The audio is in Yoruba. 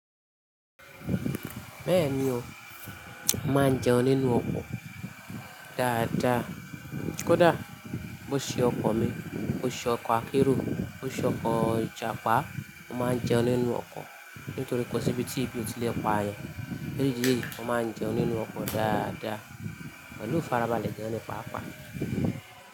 Bẹ́ẹ̀ni o, màá n jẹun nínú ọkọ̀ dáadáa. Kódà bó ṣe ọkọ̀ mi, bó ṣe ọkọ̀ akérò, bó ṣe ọkọ̀ ìjàpá, màá jẹun nínú ọkọ̀ nítorí kò síbi tí ìbò ti lè pa ayàn. Léyìí, màá jẹun nínú ọkọ̀ dáadáa, pẹlu ifarabalẹ̀ gan ni pàápàá.